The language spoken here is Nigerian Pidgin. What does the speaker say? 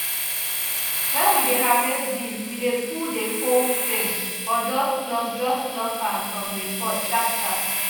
when we dey harvest beans we dey pull the whole stem or just pluck just pluck am from the pod sharp sharp